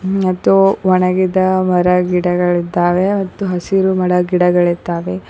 ಮತ್ತು ಒಣಗಿದ ಮರ ಗಿಡಗಳು ಇದ್ದಾವೆ ಹತ್ತು ಹಸಿರು ಮರ ಗಿಡಗಳಿದ್ದಾವೆ.